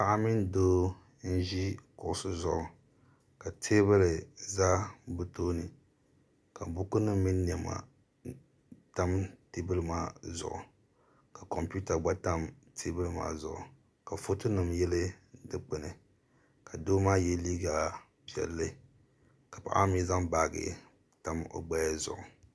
Paɣa mini doo n ʒi kuɣusi zuɣu ka teebuli za bɛ tooni ka buku nima mini niɛma tam teebuli maa zuɣu ka kompita tam teebuli maa zuɣu ka foto nima yili dikpini ka doo maa ye liiga piɛlli ka paɣa ma. mee zaŋ baaji tam o gbaya zuɣu.